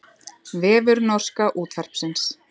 Vefur norska útvarpsins